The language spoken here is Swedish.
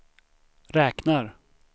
räknar